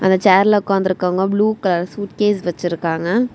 அந்த சேர்ல உக்காந்து இருக்கவங்க ப்ளூ கலர் சூட்கேஸ் வச்சிருக்காங்க.